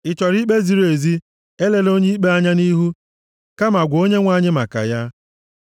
Ị chọrọ ikpe ziri ezi? Elela onye ikpe anya nʼihu, kama gwa Onyenwe anyị maka ya.